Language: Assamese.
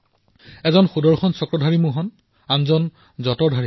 এজন সুদৰ্শন চক্ৰধাৰী মোহন আৰু এজন যঁতৰ চলোৱা মোহন